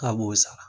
K'a b'o sara